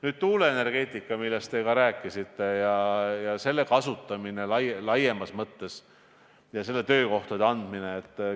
Nüüd tuuleenergeetikast, millest te samuti rääkisite, selle kasutamisest laiemas mõttes ja töökohtade andmisest.